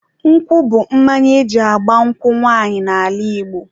nkwụ bụ mmanya eji agba nkwụ nwanyị n'ala Igbo